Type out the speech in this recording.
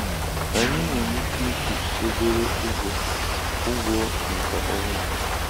Anyị nwere ike ịkwụ obere ụgwọ ụgwọ maka ọrụ a.